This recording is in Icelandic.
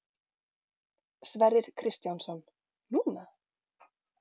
Sverrir Kristjánsson: Núna?